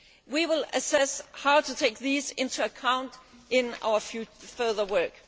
We will assess how to take these into account in our further work.